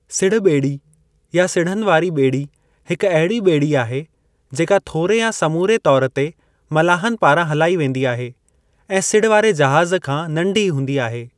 सिढ़ॿेड़ी या सिढ़नि वारी ॿेड़ी हिक अहिड़ी ॿेड़ी आहे जेका थोरे या समूरे तौर ते मलाहनि पारां हलाई वेंदी आहे ऐं सिढ़ वारे जहाज़ खां नंढी हूंदी आहे।